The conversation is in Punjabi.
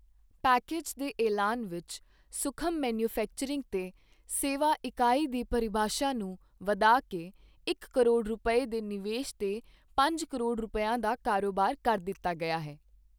ਪੈਕੇਜ ਦੇ ਐਲਾਨ ਵਿੱਚ ਸੂਖਮ ਮੈਨੂਫ਼ੈਕਚਰਿੰਗ ਤੇ ਸੇਵਾ ਇਕਾਈ ਦੀ ਪਰਿਭਾਸ਼ਾ ਨੂੰ ਵਧਾ ਕੇ ਇੱਕ ਕਰੋੜ ਰੁਪਏ ਦੇ ਨਿਵੇਸ਼ ਤੇ ਪੰਜ ਕਰੋੜ ਰੁਪਇਆਂ ਦਾ ਕਾਰੋਬਾਰ ਕਰ ਦਿੱਤਾ ਗਿਆ ਹੈ।